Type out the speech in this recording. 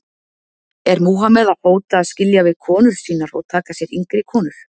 Er Múhameð að hóta að skilja við konur sínar og taka sér yngri konur?